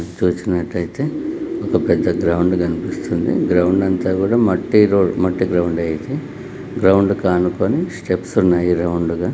చూసినట్లయితే ఒక పెద్ద గ్రౌండ్ కనిపిస్తుంది గ్రౌండ్ అంతా కూడా మట్టిలో మట్టి గ్రౌండ్ ఉంది. అయితే గ్రౌండ్ కానుకనే స్టెప్స్ ఉన్నాయి రౌండ్ గా.